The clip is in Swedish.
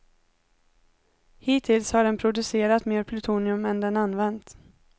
Hittills har den producerat mer plutonium än den använt.